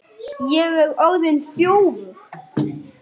Ég er orðinn þjófur.